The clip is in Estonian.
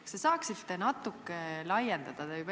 Kas te saaksite natuke laiendada?